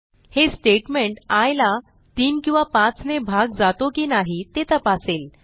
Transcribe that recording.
हे statement I ला 3 किंवा 5 ने भाग जातो की नाही ते तपासेल